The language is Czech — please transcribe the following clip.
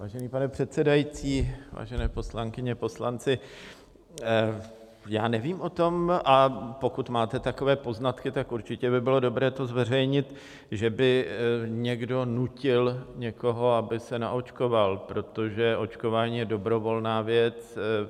Vážený pane předsedající, vážené poslankyně, poslanci, já nevím o tom - a pokud máte takové poznatky, tak určitě by bylo dobré to zveřejnit - že by někdo nutil někoho, aby se naočkoval, protože očkování je dobrovolná věc.